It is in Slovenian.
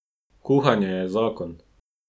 Kuhanje je zakon!